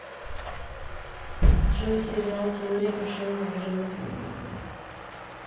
джой сериал теория большого взрыва